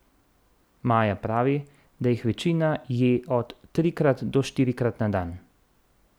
Maja pravi, da jih večina je od trikrat do štirikrat na dan.